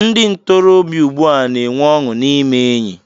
Ndị ntorobịa ugbu a n'enwe ọṅụ n'ime enyị.